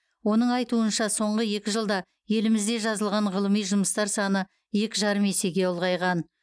оның айтуынша соңғы екі жылда елімізде жазылған ғылыми жұмыстар саны екі жарым есеге ұлғайған